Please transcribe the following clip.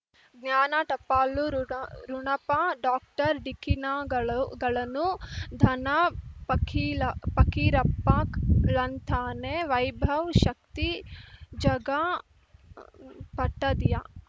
ಜ್ಞಾನ ಟಪಾಲು ರುಣಪ ಡಾಕ್ಟರ್ ಢಿಕ್ಕಿ ಣಗಳುಗಳನು ಧನ ಫಕೀಲಫಕೀರಪ್ಪ ಳಂತಾನೆ ವೈಭವ್ ಶಕ್ತಿ ಝಗಾ ಪಟ್ಟದಿಯ